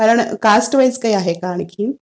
कारण caste wise काही आहे का आणखी?